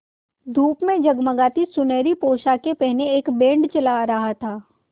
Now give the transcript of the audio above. धूप में जगमगाती सुनहरी पोशाकें पहने एक बैंड चला आ रहा था